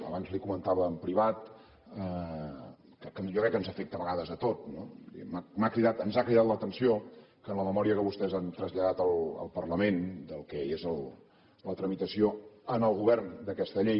abans li ho comentava en privat que jo crec que ens afecta a vegades a tots no m’ha cridat ens ha cridat l’atenció que en la memòria que vostès han traslladat al parlament del que és la tramitació en el govern d’aquesta llei